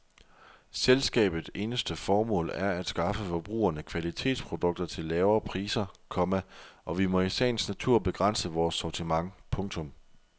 Selskabet eneste formål er at skaffe forbrugerne kvalitetsprodukter til lavere priser, komma og vi må i sagens natur begrænse vores sortiment. punktum